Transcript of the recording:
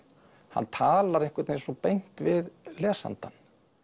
hann talar einhvern veginn svo beint við lesandann